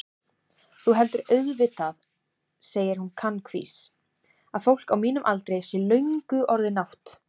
Þú heldur auðvitað, segir hún kankvís, að fólk á mínum aldri sé löngu orðið nátt-